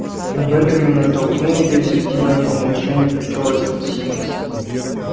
но бенджамин оттолкнул её и среди мёртвого молчания прочёл альфред симмонс